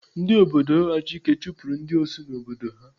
Ndị obodo Achike chụpụrụ ndị Osu n'obodo ha.